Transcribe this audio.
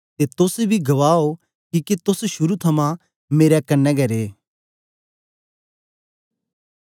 ते तोस बी गवाह ओ किके तोस शुरू थमां मेरे कन्ने रे ओ